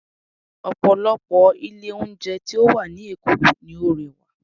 Ọ̀pọ̀lọpọ̀ ilé oúnjẹ tí ó wà ní Èkó ni ó rẹwà